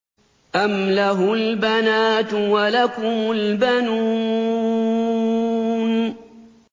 أَمْ لَهُ الْبَنَاتُ وَلَكُمُ الْبَنُونَ